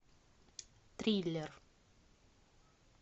триллер